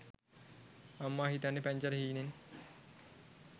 අම්මා හිතන්නෙ පැංචට හීනෙන්